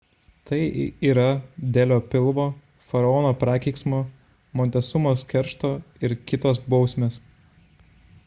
tai yra delio pilvo faraono prakeiksmo montesumos keršto ir kt. bausmės